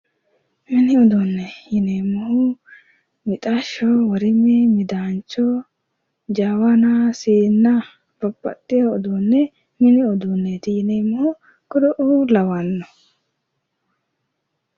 Mini uduunne yineemmo mixashsho, worime, midaancho, jawana, siinna, babbaxxiwo uduunne mini uduunneeti yineemmo kuriuu lawanno.